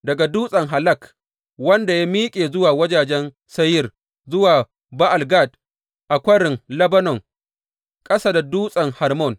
Daga Dutsen Halak wanda ya miƙe zuwa wajajen Seyir, zuwa Ba’al Gad a Kwarin Lebanon ƙasa da Dutsen Hermon.